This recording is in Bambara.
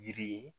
Yiri ye